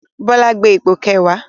Bọlá gbé ipò kẹwàá